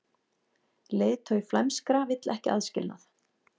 Leiðtogi flæmskra vill ekki aðskilnað